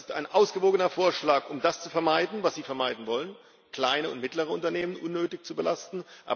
Das ist ein ausgewogener Vorschlag, um das zu vermeiden, was Sie vermeiden wollen, nämlich kleine und mittlere Unternehmen unnötig zu belasten.